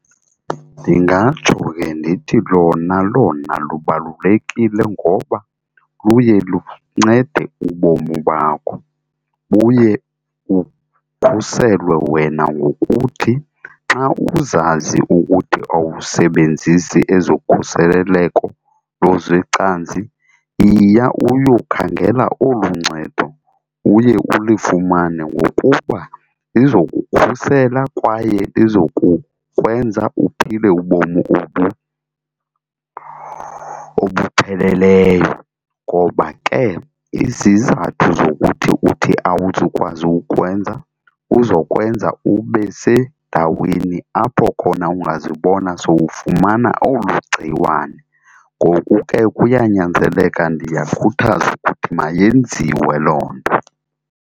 Ndingatsho ke ndithi lona lona lubalulekile ngoba luye luncede ubomi bakho. Buye ukhuselwe wena ngokuthi xa uzazi ukuthi awusebenzisi ezokhuseleleko lozwecantsi yiya uyokhangela olu ncedo, uye ulifumane ngokuba lizokukhusela kwaye lizokukwenza uphile ubomi obu obupheleleyo. Ngoba ke izizathu zokuthi uthi awuzukwazi ukukwenza kuzokwenza ubesendaweni apho khona ungazibona sowufumana olu gciwane, ngoku ke kuyanyanzeleka ndiyakhuthaza ukuthi mayenziwe loo nto.